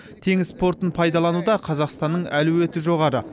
теңіз портын пайдалануда қазақстанның әлеуеті жоғары